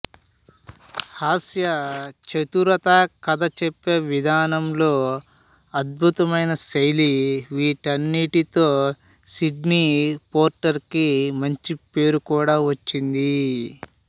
హాస్య చతురత కథ చెప్పే విధానంలో అద్భుతమైన శైలి వీటన్నింటితో సిడ్నీ పోర్టర్ కి మంచి పేరు కూడా వచ్చింది